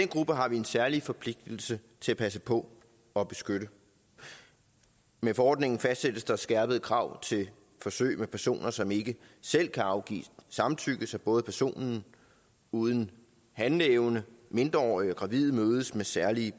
grupper har vi en særlig forpligtelse til at passe på og beskytte med forordningen fastsættes der skærpede krav til forsøg med personer som ikke selv kan afgive samtykke så både personer uden handleevne mindreårige og gravide mødes med særlige